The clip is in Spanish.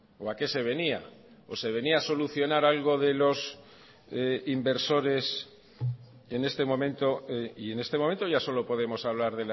o a qué se venía o se venía a solucionar algo de los inversores en este momento y en este momento ya solo podemos hablar